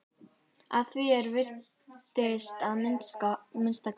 Að því er virtist að minnsta kosti.